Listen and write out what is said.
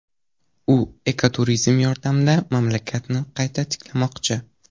U ekoturizm yordamida mamlakatni qayta tiklamoqchi.